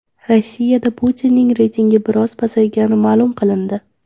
Rossiyada Putinning reytingi biroz pasaygani ma’lum qilindi.